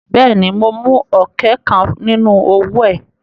Bẹ́ẹ̀ ni, mo mú ọ̀kẹ́ kan nínú owó ẹ.